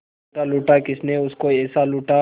लूटा लूटा किसने उसको ऐसे लूटा